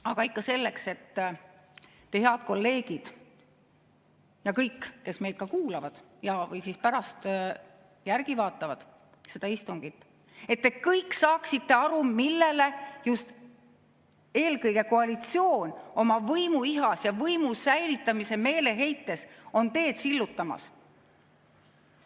Aga ikka selleks, et te, head kolleegid, ja kõik, kes meid kuulavad või pärast järgi vaatavad seda istungit, saaksite aru, millele just eelkõige koalitsioon oma võimuihas ja võimu säilitamise meeleheites on teed sillutamas.